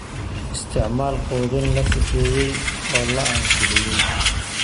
Isticmaal quudin la sifeeyay oo la ansixiyay.